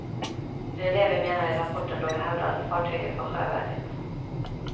Det är det vi menar i rapporten då vi hävdar att fartyget var sjövärdigt.